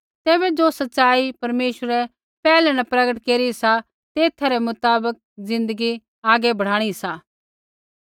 तैबै ज़ो सच़ाई परमेश्वरै पैहलै न प्रगट केरी सा तेथा रै मुताबक ज़िन्दगी आगै बढ़ाणी सा